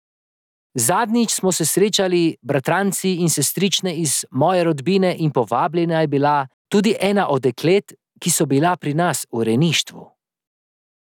Zadnjič smo se srečali bratranci in sestrične iz moje rodbine in povabljena je bila tudi ena od deklet, ki so bila pri nas v rejništvu.